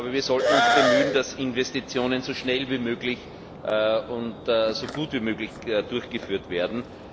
Wir sollten uns bemühen, dass Investitionen so schnell wie möglich und so gut wie möglich durchgeführt werden.